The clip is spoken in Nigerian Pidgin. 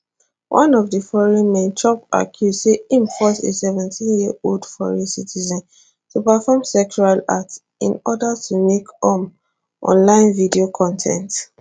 one of di foreign men chop accuse say im force a 17yearold foreign citizen to perform sexual acts in order to make um online video con ten t